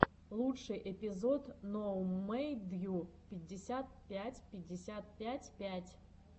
лучший эпизод ноумэдйу пятьдесят пять пятьдесят пять пять